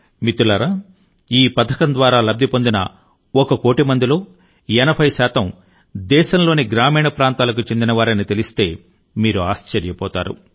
మిత్రులారా ఈ పథకం ద్వారా లబ్ది పొందిన ఒక కోటి మందిలో 80 శాతం దేశంలోని గ్రామీణ ప్రాంతాలకు చెందినవారని తెలిస్తే మీరు ఆశ్చర్యపోతారు